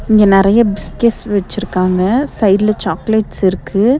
இங்க நெறைய பிஸ்கெட்ஸ் வெச்சுருக்காங்க சைடுல சாக்லேட்ஸ் இருக்கு.